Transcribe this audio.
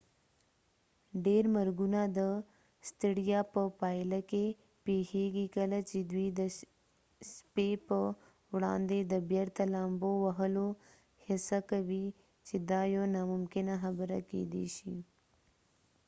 ډير مرګونه د ستړیا په پایله کې پیښیږي کله چې دوی د څپې په وړاندې د بیرته لامبو وهلو هڅه کوي چې دا يوه ناممکنه خبره کيدې شي